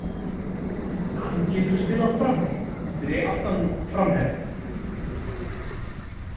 Hann getur spilað frammi, fyrir aftan framherjann.